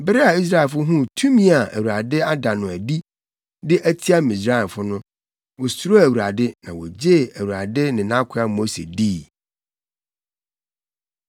Bere a Israelfo huu tumi a Awurade ada no adi de atia Misraimfo no, wosuroo Awurade, na wogyee Awurade ne nʼakoa Mose dii.